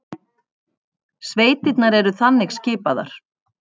Sveitirnar eru þannig skipaðar